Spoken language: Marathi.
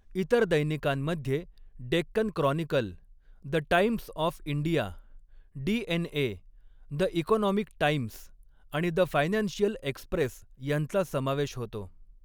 इतर दैनिकांमध्ये Deccan Chronicle, the Times of India, DNA, the Economic Times आणि द फायनान्शिअल एक्स्प्रेस यांचा समावेश होतो.